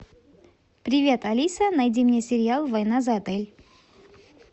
привет алиса найди мне сериал война за отель